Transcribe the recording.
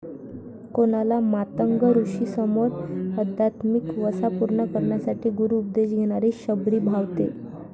कोणाला मातंग ऋषींसमोर अध्यात्मिक वसा पूर्ण करण्यासाठी गुरु उपदेश घेणारी शबरी भावते.